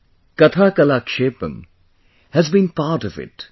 'Kathakalakshepam' has been part of it